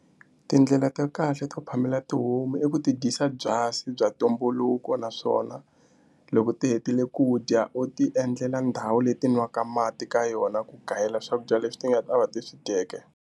Tindlela ta kahle to phamela tihomu i ku ti dyisa byasi bya ntumbuluko naswona loko ti hetile ku dya u ti endlela ndhawu leti nwaka mati ka yona ku gayela swakudya leswi ti nga ta va ti swi dyeke.